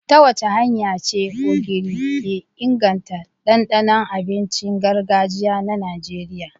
Ta wace hanya ce Ogiri ke inganta dandanon abincin gargajiya na Najeriya?